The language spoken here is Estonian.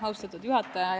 Austatud juhataja!